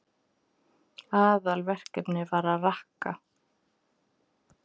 Aðalverkefnið var að rakka.